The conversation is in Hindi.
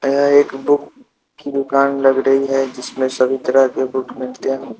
यहां एक बुक की दुकान लग रही है जिसमें सभी तरह के बुक मिलते हैं।